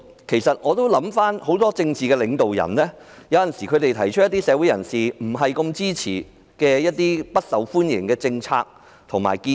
其實很多政治領導人有時也會提出一些社會人士不太支持的不受歡迎的政策和建議。